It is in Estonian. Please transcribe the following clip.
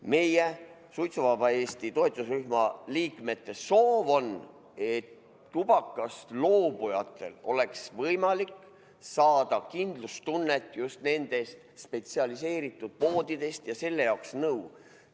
Meie, suitsuvaba Eesti toetusrühma liikmete soov on, et tubakast loobujatel oleks võimalik saada kindlustunnet just nendest spetsialiseerunud poodidest ja selle jaoks nõu.